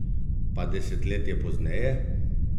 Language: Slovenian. Pa desetletje pozneje?